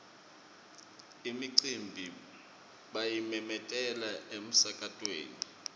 imicimbi bayimemetela emsakatweni